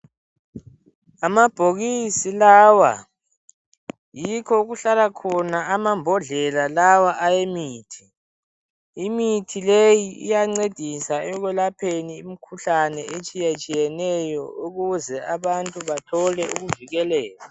Amabhokisi lawa yikho okuhlala khona amambodlela lawa ayemithi. Imithi leyi iyancedisa ekwelaphani imikhuhlane etshiyatshiyeneyo ukuze abantu bathole ukuvukeleka.